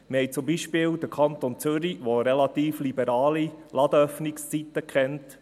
Wir haben zum Beispiel den Kanton Zürich, der relativ liberale Öffnungszeiten kennt.